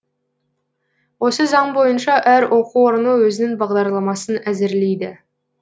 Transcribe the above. осы заң бойынша әр оқу орны өзінің бағдарламасын әзірлейді